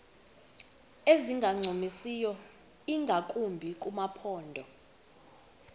ezingancumisiyo ingakumbi kumaphondo